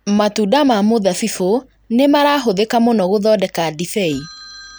Matunda ma mũthabibũ nĩmarahũthĩka mũno gũthondeka ndibei